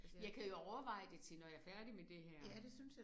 Jeg kan jo overveje det til når jeg er færdig med det her